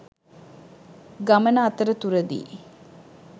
ගමන අතරතුරදී